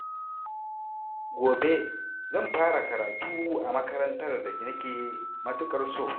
Gobe, zan fara karatu a makarantar da nake matukar so.